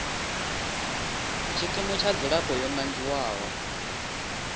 tshikimu tsha dzilafho yo nangiwaho